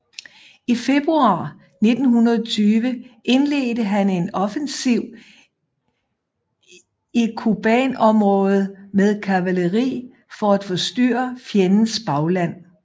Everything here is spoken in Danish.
I februar 1920 indledte han en offensiv i Kubanområdet med kavaleri for at forstyrre fjendens bagland